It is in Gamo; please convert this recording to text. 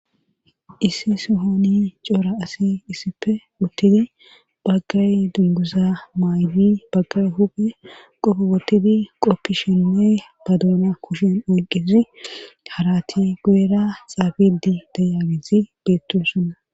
issi sohoni cora asi issife uttidi baggay dunguza maaydi baggay huphe qofobotidi qoppi shinne badoona kushen oyqqezi harati guera xaafidi dayagezi beettosoona